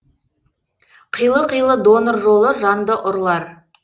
қилы қилы донор жолы жанды ұрлар